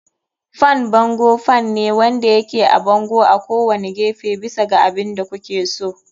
Fan bango fan ne wanda yake a bango a kowane gefe, bisa ga abin da kuke so.